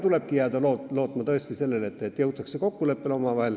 Tulebki jääda tõesti lootma sellele, et jõutakse omavahel kokkuleppele.